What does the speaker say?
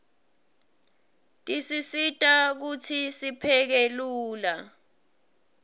tisisita kutsi sipheke lula